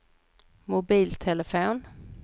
mobiltelefon